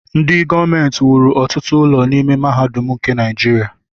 Ndị gọọmenti wuru ọtụtụ ụlọ n'ime mahadum nke Naijiria.